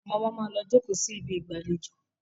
Àwón omo má lọ jókó sí Ibi ìgbàlejò.